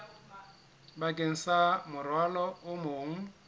bakeng sa morwalo o mong